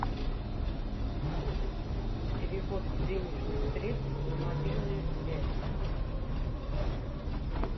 перевод денежных средств на мобильную связь